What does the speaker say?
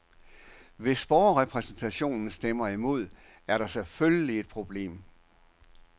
Hvis borgerrepræsentationen stemmer imod, er der selvfølgelig et problem.